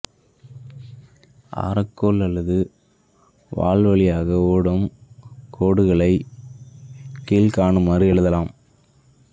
ஆரக்கோல் அல்லது வாள் வழியாக ஓடும் கோடுகளைக் கீழ்க்காணுமாறு எழுதலாம்